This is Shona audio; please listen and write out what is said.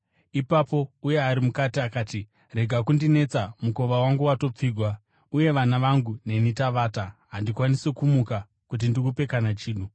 “Ipapo uya ari mukati akati, ‘Rega kundinetsa. Mukova wangu watopfigwa, uye vana vangu neni tavata. Handikwanisi kumuka kuti ndikupe kana chinhu.’